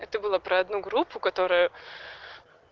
это было про одну группу которая